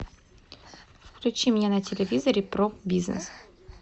включи мне на телевизоре про бизнес